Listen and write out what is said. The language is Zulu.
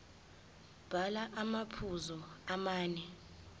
bhala amaphuzu amane